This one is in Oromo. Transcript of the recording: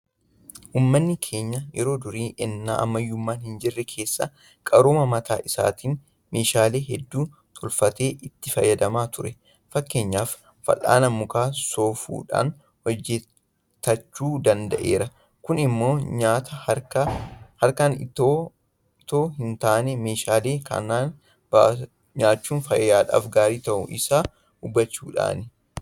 Uummanni keenya yeroo durii ennaa ammayyummaan hinjirre keessa qarooma mataa isaatiin meeshaalee hedduu tolfatee itti fayyadamaa ture. Fakkeenyaaf Fal'aana Muka soofuudhaan hojetachuu danda'eera. Kun immoo nyaata harkaan itoo hintaane meeshaa kanaan nyaachuun fayyaadhaaf gaarii ta'uu isaa hubachuudhaani.